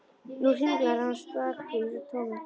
Nú hringlar hann stakur í tómi.